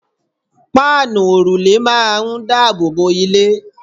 páànù òrùlé máà ń daboobo ilé